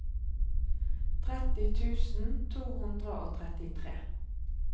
tretti tusen to hundre og trettitre